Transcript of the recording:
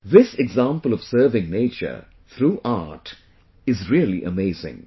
This example of serving nature through art is really amazing